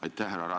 Aitäh!